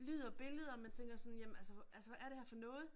Lyd og billeder og man tænker sådan jamen altså altså hvad er det her for noget?